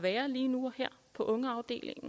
det